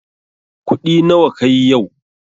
Kuɗi nawa kayi yau?